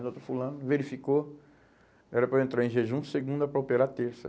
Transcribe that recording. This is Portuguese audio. O doutor fulano verificou, era para eu entrar em jejum segunda para operar terça.